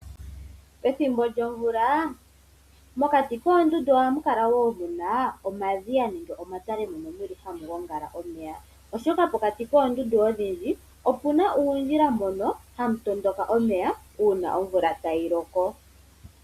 Pethimbo lyomvula mokati koondundu ohamukala muna omadhiya gomeya nenge omatale mono hamu gongala omeya, oshoka pokati koondundu odhindji opuna uundjila mbono hamu tondoka omeya uuna omvula tayiloko.